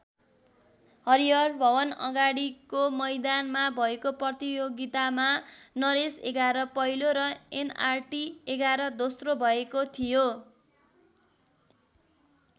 हरिहर भवनअगाडिको मैदानमा भएको प्रतियोगितामा नरेश एघार पहिलो र एनआरटी एघार दोस्रो भएको थियो।